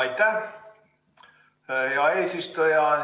Aitäh, hea eesistuja!